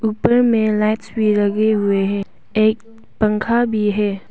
ऊपर में लाइट्स भी लगे हुए हैं और एक पंखा भी हैं।